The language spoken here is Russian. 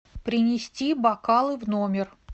принести бокалы в номер